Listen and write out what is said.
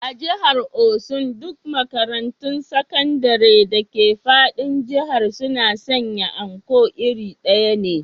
A jihar osun duk makarantun sakandire dake fadin jihar suna sanya Anko iri ɗaya ne